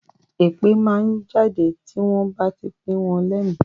Èpè máa ń jáde tí wọ́n bá ti pìn wọ́n lẹ́mi